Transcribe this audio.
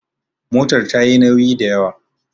motar ta yi nauyi da ywa?